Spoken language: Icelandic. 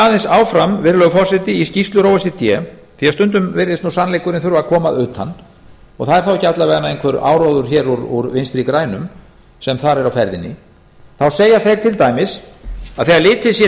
aðeins áfram virðulegi forseti í skýrslur o e c d því stundum virðist nú sannleikurinn verða að koma að utan það er þá alla vega ekki einhver áróður hér úr vinstri grænum sem þar er á ferðinni þá segja þeir til dæmis að þegar litið sé